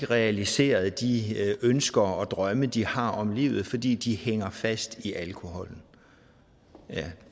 realiseret de ønsker og drømme de har om livet fordi de hænger fast i alkoholen